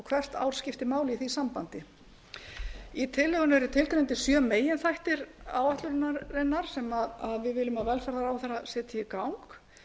hvert ár skiptir máli í því sambandi í tillögunni eru skilgreindir sjö meginþættir áætlunarinnar sem við viljum að velferðarráðherra setji í